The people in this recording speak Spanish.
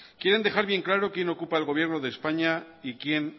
quieren dejar bien claro quién ocupa el gobierno de españa y quién